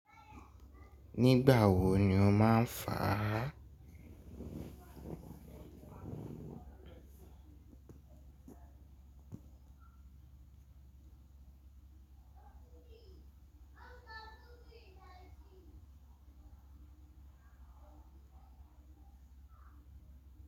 Nígbà wo ni o máa ń faá?